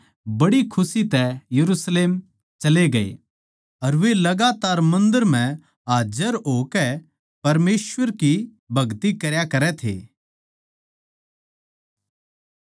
अर वे लगातार मन्दर म्ह हाज्जर होकै परमेसवर की भगति करया करै थे